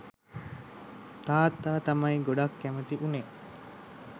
තාත්තා තමයි ගොඩක් කැමැති වුණේ